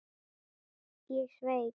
Ég sveik.